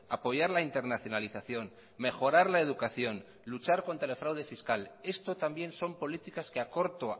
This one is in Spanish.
apoyar la internacionalización mejorar la educación luchar contra el fraude fiscal esto también son políticas que a corto